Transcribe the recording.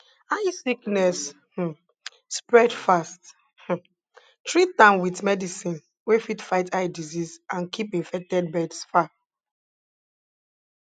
eye sickness um spread fast um treat am with medicine wey fit fight eye disease and keep infected birds far